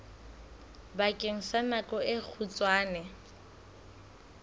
bakeng sa nako e kgutshwane